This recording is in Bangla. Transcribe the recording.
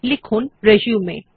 লিখুন রিসিউম